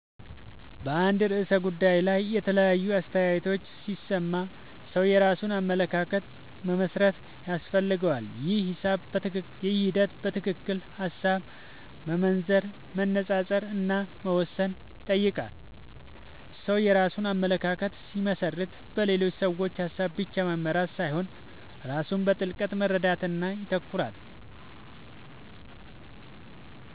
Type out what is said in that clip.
በአንድ ርዕሰ ጉዳይ ላይ የተለያዩ አስተያየቶችን ሲሰማ ሰው የራሱን አመለካከት መመስረት ያስፈልገዋል። ይህ ሂደት በትክክል ሐሳብ መመርመር፣ መነጻጸር እና መወሰን ይጠይቃል። ሰው የራሱን አመለካከት ሲመሰርት በሌሎች ሰዎች ሐሳብ ብቻ መመራት ሳይሆን ራሱ በጥልቅ መረዳት ላይ ይተኮራል።